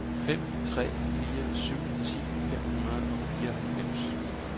fem tre fire syv ti fem hundrede og fireoghalvfems